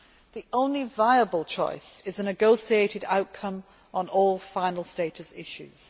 The only viable choice is a negotiated outcome on all final status issues.